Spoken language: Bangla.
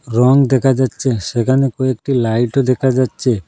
রং দেখা যাচ্চে সেখানে কয়েকটি লাইটও দেখা যাচ্চে।